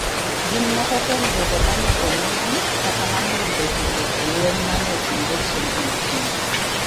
gin moko kuom jogo ma ne onegi kata ma ne oyudo hinyruok e lweny ma ne otimore chieng’ Jumapil.